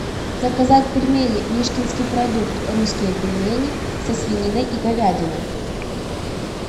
заказать пельмени мишкинский продукт русские пельмени со свининой и говядиной